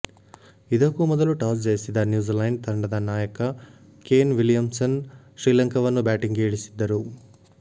ಇದಕ್ಕೂ ಮೊದಲು ಟಾಸ್ ಜಯಿಸಿದ ನ್ಯೂಝಿಲೆಂಡ್ ತಂಡದ ನಾಯಕ ಕೇನ್ ವಿಲಿಯಮ್ಸನ್ ಶ್ರೀಲಂಕಾವನ್ನು ಬ್ಯಾಟಿಂಗ್ಗೆ ಇಳಿಸಿದ್ದರು